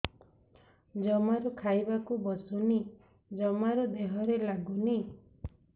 ଜମାରୁ ଖାଇବାକୁ ବସୁନି ଜମାରୁ ଦେହରେ ଲାଗୁନି